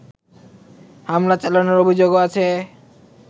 হামলা চালানোর অভিযোগও আছে